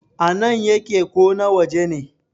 a nan yake ko na waje ne?